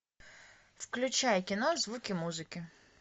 включай кино звуки музыки